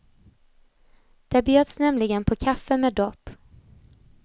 Där bjöds nämligen på kaffe med dopp.